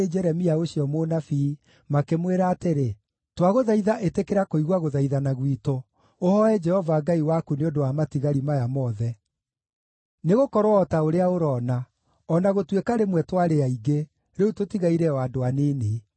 Jeremia ũcio mũnabii, makĩmwĩra atĩrĩ: “Twagũthaitha ĩtĩkĩra kũigua gũthaithana gwitũ, ũhooe Jehova Ngai waku nĩ ũndũ wa matigari maya mothe. Nĩgũkorwo o ta ũrĩa ũroona, o na gũtuĩka rĩmwe twarĩ aingĩ, rĩu tũtigaire o andũ anini.